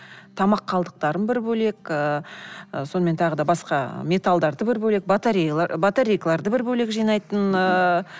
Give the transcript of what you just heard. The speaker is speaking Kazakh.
тамақ қалдықтарын бір бөлек ыыы сонымен тағы да басқа металдарды бір бөлек батарейкаларды бір бөлек жинайтын ыыы